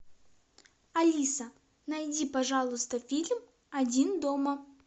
алиса найди пожалуйста фильм один дома